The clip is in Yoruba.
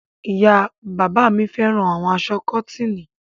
Ìyá-bàbá mi fẹ́ràn àwọn aṣọ kọ́tíìnì.